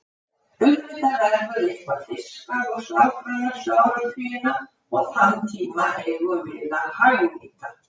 Auðvitað verður eitthvað fiskað og slátrað næstu áratugina og þann tíma eigum við að hagnýta.